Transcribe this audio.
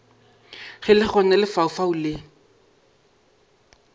ge le gona lefaufau le